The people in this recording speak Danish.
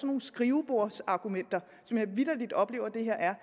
nogle skrivebordsargumenter som jeg vitterlig oplever det her er